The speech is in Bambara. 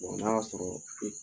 n'a y'a sɔrɔ e